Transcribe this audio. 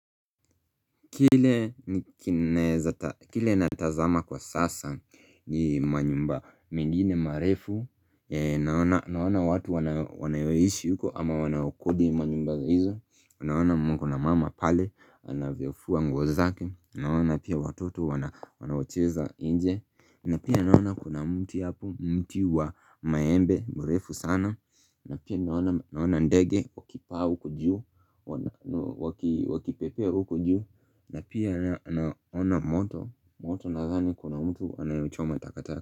Kile natazama kwa sasa ni manyumba mengine marefu Naona watu wanayoishi huko ama wanawakodi manyumba hizo Naona mkona mama pale anavyofuwa nguo zake Naona pia watoto wanawacheza inje na pia naona kuna mti hapo mti wa maembe mrefu sana na pia naona ndege wakipaa huku juu Wakipepea hujuu na pia naona moto moto nadhani kuna mtu anayochoma takataka.